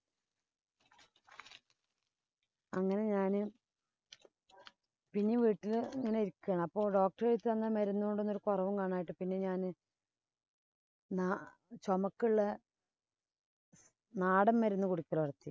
അങ്ങനെ ഞാന് പിന്നേം വീട്ടില് ഇങ്ങനെ ഇരിക്കയാണ്. അപ്പൊ doctor എഴുതിത്തന്ന മരുന്ന് കൊണ്ട് ഒരു കുറവും കാണാഞ്ഞിട്ടു പിന്നെ ഞാനാ നാ ചൊമക്കുള്ള നാടന്‍ മരുന്ന് കുടിക്കല്